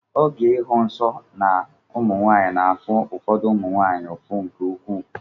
Oge ịhụ nsọ na ụmụ nwaanyị na-afụ ụfọdụ ụmụ nwaanyị ụfụ nke ukwuu.